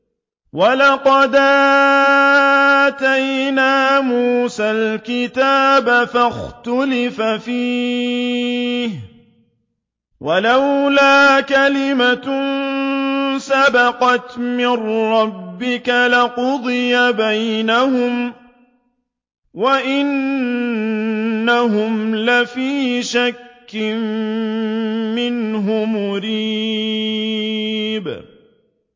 وَلَقَدْ آتَيْنَا مُوسَى الْكِتَابَ فَاخْتُلِفَ فِيهِ ۗ وَلَوْلَا كَلِمَةٌ سَبَقَتْ مِن رَّبِّكَ لَقُضِيَ بَيْنَهُمْ ۚ وَإِنَّهُمْ لَفِي شَكٍّ مِّنْهُ مُرِيبٍ